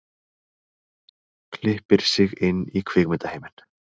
Klippir sig inn í kvikmyndaheiminn